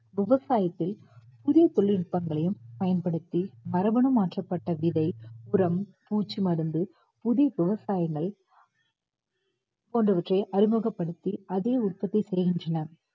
விவசாயத்தில் புதிய தொழில்நுட்பங்களையும் பயன்படுத்தி மரபணு மாற்றப்பட்ட விதை உரம் பூச்சிமருந்து புதிய விவசாயங்கள் போன்றவற்றை அறிமுகப்படுத்தி அதையே உற்பத்தி செய்கின்றனர்